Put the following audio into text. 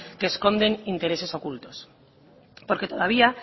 que esconden intereses ocultos porque todavía